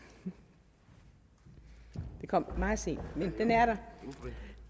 den kom meget sent men den er der